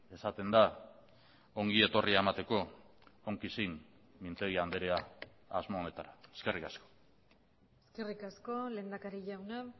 esaten da ongi etorria emateko onki xin mintegi andrea asmo honetara eskerrik asko eskerrik asko lehendakari jauna